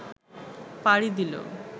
পাড়ি দিল